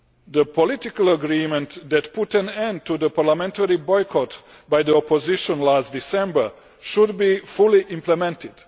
The political agreement that put an end to the parliamentary boycott by the opposition last December should be fully implemented.